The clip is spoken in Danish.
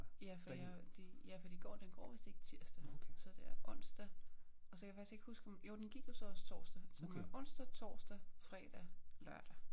Ja for jeg de ja for de går den går vist ikke tirsdag så det er onsdag og så kan jeg faktisk ikke huske om jo den gik jo så også torsdag så med onsdag torsdag fredag lørdag